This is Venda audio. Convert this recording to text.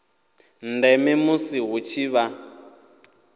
ndeme musi hu tshi vha